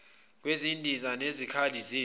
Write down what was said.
kwezindiza nezikhali zempi